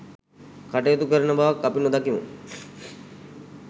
කටයුතු කරන බවක් අපි නොදකිමු.